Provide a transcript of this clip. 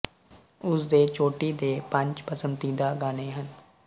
ਉਸ ਦੇ ਚੋਟੀ ਦੇ ਪੰਜ ਪਸੰਦੀਦਾ ਗਾਣੇ ਹਨ